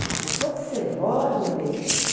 Ah, depois de ser vó é uma delícia.